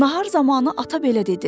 Nahar zamanı ata belə dedi: